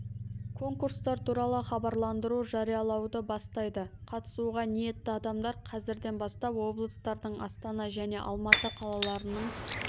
конкурстар туралы хабарландыру жариялауды бастайды қатысуға ниетті адамдар қазірден бастап облыстардың астана және алматы қалаларының